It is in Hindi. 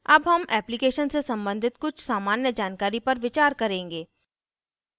अब हम application से सम्बंधित कुछ सामान्य जानकारी पर विचार करेंगे